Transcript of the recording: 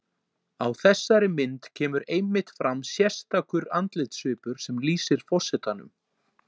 Á þessari mynd kemur einmitt fram sérstakur andlitssvipur sem lýsir forsetanum.